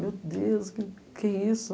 Meu Deus, o que que é isso?